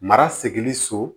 Mara segi so